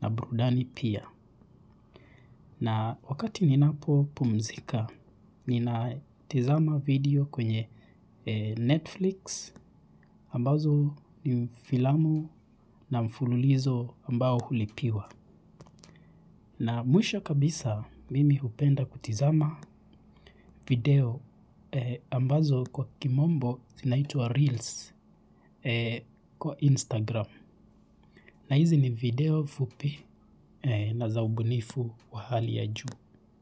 na burudani pia. Na wakati ninapo pumzika, ninatizama video kwenye Netflix ambazo ni filamu na mfululizo ambao hulipiwa. Na mwisha kabisa mimi hupenda kutizama video ambazo kwa kimombo zinaitwa Reels kwa Instagram. Na hizi ni video fupi na za ubunifu wa hali ya juu.